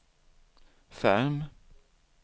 Ferm